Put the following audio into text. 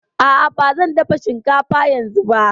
A'a, ba zan dafa shinkafa yanzu ba